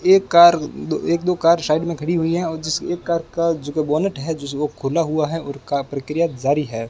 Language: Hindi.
एक कार एक दो कार साइड में खड़ी हुई है और जिस एक कार का बोनट जिस को खुला हुआ है उनका प्रक्रिया जारी है।